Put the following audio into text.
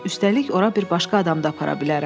Üstəlik ora bir başqa adam da apara bilərəm.